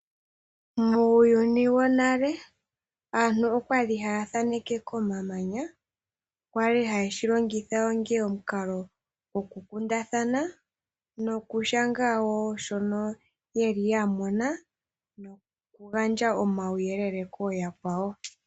Muuyuni wonale aantu okwali haya thaneke komamanya kwali haye shi longitha onga omukalo go kukundathana nokushanga wo shoka yamona noku gandja omauyelele ko yakwawo.